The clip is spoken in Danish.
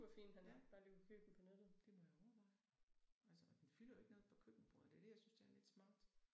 Ja det må jeg overveje. Altså og den fylder jo ikke noget på køkkenbordet det er det jeg synes er lidt smart